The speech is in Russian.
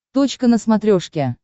точка на смотрешке